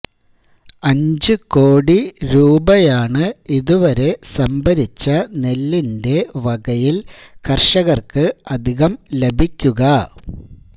അഞ്ച് ഞ്ച്കോടി രൂപയാണ് ഇതുവരെ സംഭരിച്ച നെല്ലിന്റെ വകയില് കര്കര്ക്ക് അധികം ലഭിക്കുക